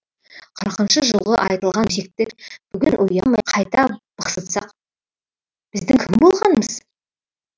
қырқыншы жылғы айтылған өсекті бүгін ұялмай қайта бықсытсақ біздің кім болғанымыз